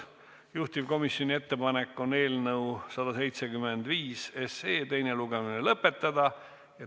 Juhtivkomisjoni ettepanek on eelnõu 175 teine lugemine lõpetada.